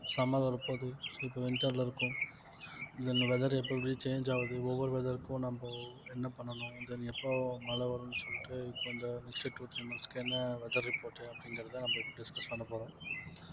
summer வரப்போகுது so இப்ப winter ல இருக்கோம் then weather எப்ப எப்படி change ஆகுது ஒவ்வொரு weather க்கும் நம்போ என்ன பண்ணணும் then எப்போ மழை வரும்ன்னு சொல்லிட்டு இப்ப இந்த next two three months க்கு என்ன weather report உ அப்படிங்கிறதை நம்ம இப்ப discuss பண்ண போறோம்